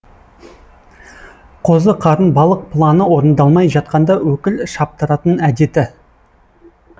қозы қарын балық планы орындалмай жатқанда өкіл шаптыратын әдеті